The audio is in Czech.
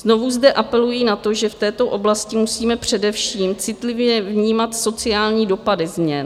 Znovu zde apeluji na to, že v této oblasti musíme především citlivě vnímat sociální dopady změn.